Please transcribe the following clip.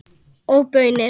Og baunir.